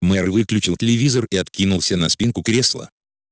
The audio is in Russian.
мэр выключил телевизор и откинулся на спинку кресла